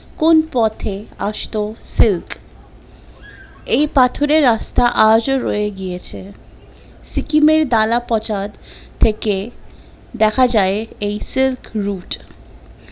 শুধু silk, এই পাথরের রাস্তা আজও রয়ে গিয়েছে, সিকিম এর দালাপঁছাদ থেকে দেখা যায় এই silk route